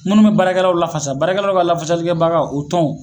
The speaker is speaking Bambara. Minnu be baarakɛlaw lafasa baarakɛlaw ka lafasaliɛbaga o tɔnw